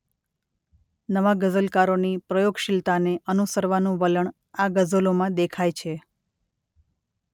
નવા ગઝલકારોની પ્રયોગશીલતાને અનુસરવાનું વલણ આ ગઝલોમાં દેખાય છે.